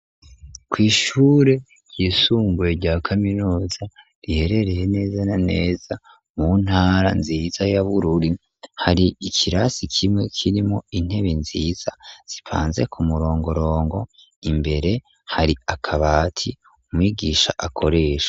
Kw'ishure ry'isumbuye rya kaminuza, riherereye neza neza mu ntara nziza ya Bururi, hari ikirasi kimwe kirimwo intebe nziza zipanze ku murongorongo, imbere hari akabati umwigisha akoresha.